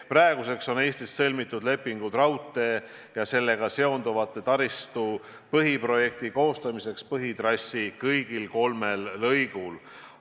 Praeguseks on Eestis sõlmitud lepingud raudtee ja sellega seonduva taristu põhiprojekti koostamiseks põhitrassi kõigil kolmel lõigul.